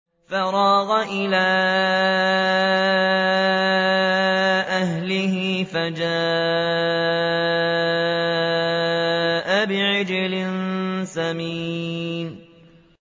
فَرَاغَ إِلَىٰ أَهْلِهِ فَجَاءَ بِعِجْلٍ سَمِينٍ